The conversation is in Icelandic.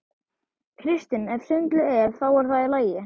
Kristinn: Ef svindlið er. þá er það í lagi?